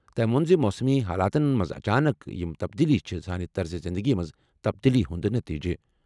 تٔمۍ ووٚن زِ موسمی حالاتَن منٛز اچانک یِم تبدیلیہٕ چھِ سانہِ طرزِ زِنٛدگی منٛز تبدیلی ہُنٛد نتیجہٕ۔